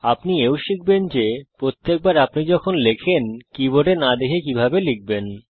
আপনি এও শিখবেন যে প্রত্যেকবার আপনি যখন লেখেন কীবোর্ডে না দেখে কিভাবে লিখবেন